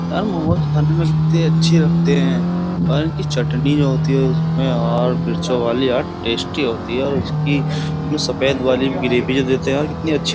यार मोमोज खाने में कितनी अच्छी लगते हैं और इनकी चटनी जो होती है उसमें और मिर्चों वाली और टेस्टी होती है और उसकी उमें सफेद वाली ग्रेवी जो देते हैं और कितनी अच्छी --